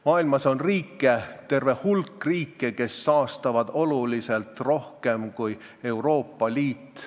Maailmas on terve hulk riike, kes saastavad oluliselt rohkem kui Euroopa Liit.